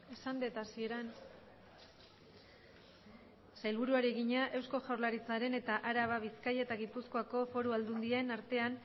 esan dut hasieran eusko jaurlaritzaren eta araba bizkaia eta gipuzkoako foru aldundien artean